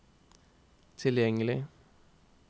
tilgjengelig